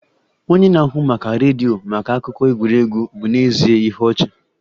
Onye na-ahụ maka redio maka akụkọ egwuregwu bụ n'ezie ihe ọchị